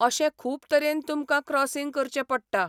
अशें खूब तरेन तुमकां क्रॉसींग करचें पडटा.